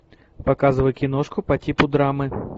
показывай киношку по типу драмы